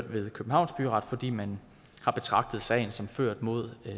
ved københavns byret fordi man har betragtet sagen som ført mod